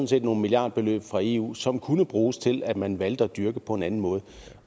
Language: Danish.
set nogle milliardbeløb fra eu som kunne bruges til at man valgte at dyrke på en anden måde